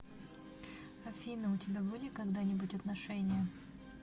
афина у тебя были когда нибудь отношения